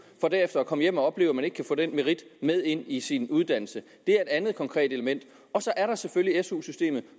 for derefter at komme hjem og opleve at man ikke kan få den merit med ind i sin uddannelse det er et andet konkret element og så er der selvfølgelig su systemet